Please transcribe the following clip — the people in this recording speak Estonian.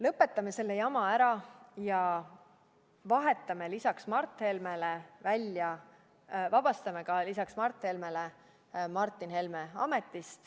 Lõpetame selle jama ära ja vabastame lisaks Mart Helmele ametist ka Martin Helme.